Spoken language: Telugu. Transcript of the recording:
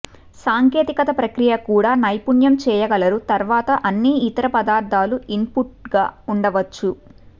సాంకేతిక ప్రక్రియ కూడా నైపుణ్యం చేయగలరు తర్వాత అన్ని ఇతర పదార్ధాల ఇన్పుట్గా ఉండవచ్చు